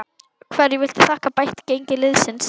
Hverju viltu þakka bætt gengi liðsins?